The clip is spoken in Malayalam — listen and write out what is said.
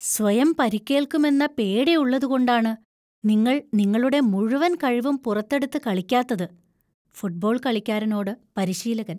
സ്വയം പരിക്കേൽക്കുമെന്ന പേടി ഉള്ളത്കൊണ്ടാണ് നിങ്ങൾ നിങ്ങളുടെ മുഴുവൻ കഴിവും പുറത്തെടുത്ത് കളിക്കാത്തത്. (ഫുട്ബോൾ കളിക്കാരനോട് പരിശീലകൻ)